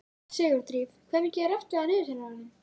Sigurdríf, hvað er mikið eftir af niðurteljaranum?